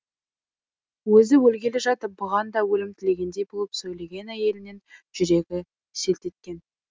өзі өлгелі жатып бұған да өлім тілегендей болып сөйлеген әйелінен жүрегі селт еткен